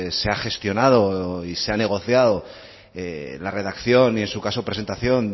se ha gestionado y se ha negociado la redacción y en su caso presentación